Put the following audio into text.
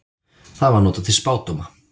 Það var notað til spádóma.